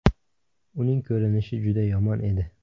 Uning ko‘rinishi juda yomon edi.